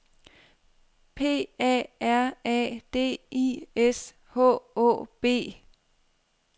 P A R A D I S H Å B